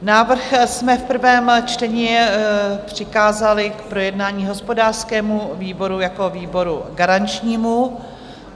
Návrh jsme v prvém čtení přikázali k projednání hospodářskému výboru jako výboru garančnímu.